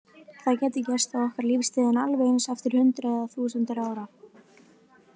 Það gæti gerst á okkar lífstíð en alveg eins eftir hundruð eða þúsundir ára.